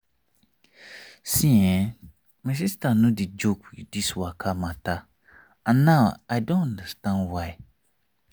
see[um]my sister no dey joke with this waka matter and now i don understand why.